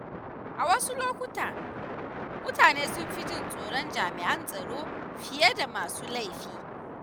A wasu lokuta, mutane sun fi jin tsoron jami’an tsaro fiye da masu laifi.